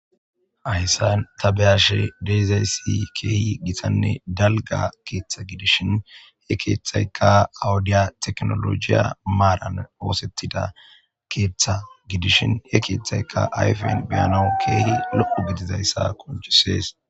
Hayssan tabeyashe deezay si keehi gitanne dalga keeththa gidishin he keeththayka awudiya teknolojiya maaran oosettida keeththa gidishin he keeththayka ayfen beyano keehi loqu gidizayssa konchisees.